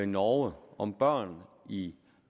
norge om børn i